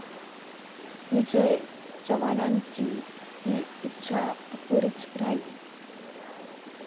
विजय चव्हाणांची ही इच्छा अपुरीच राहिली